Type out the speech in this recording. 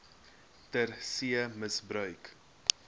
ter see misbruik